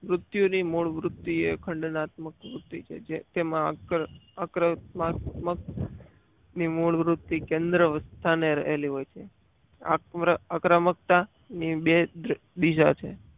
ઋતિયો ની મૂળ વૃત્તિ એ અખંડ તાવની વૃદ્ધિ છે જે તેમાં આકર્ષતામક ની મૂળ વૃત્તિ કેન્દ્ર તાને રહેલી હોય છે આક્રમકતા ની બે બીજા છે.